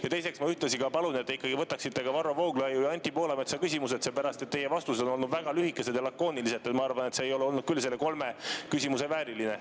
Ja teiseks, ühtlasi ma palun, et te ikkagi võtaksite ka Varro Vooglaiu ja Anti Poolametsa küsimused ette, seepärast et teie vastused on olnud väga lühikesed ja lakoonilised – ma arvan, et see ei ole olnud küll nende kolme küsimuse vääriline.